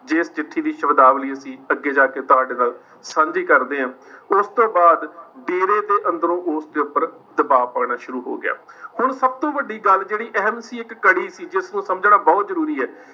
ਜਿਸ ਚਿੱਠੀ ਦੀ ਸ਼ਬਦਾਵਲੀ ਅਸੀਂ ਅੱਗੇ ਜਾ ਕੇ ਤੁਹਾਡੇ ਨਾਲ ਸਾਂਝੀ ਕਰਦੇ ਹਾਂ ਉਸ ਤੋਂ ਬਾਅਦ ਡੇਰੇ ਦੇ ਅੰਦਰੋਂ ਉਸ ਦੇ ਉੱਪਰ ਦਬਾਅ ਪਾਉਣਾ ਸ਼ੁਰੂ ਹੋ ਗਿਆ ਹੁਣ ਸਭ ਤੋਂ ਵੱਡੀ ਗੱਲ ਜਿਹੜੀ ਅਹਿਮ ਸੀ ਇੱਕ ਕੜੀ ਸੀ ਜਿਸਨੂੰ ਸਮਝਣਾ ਬਹੁਤ ਜਰੂਰੀ ਹੈ।